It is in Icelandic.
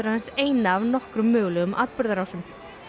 aðeins eina af nokkrum mögulegum atburðarásum